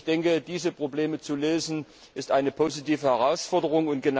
Ich denke, diese Probleme zu lösen, ist eine positive Herausforderung.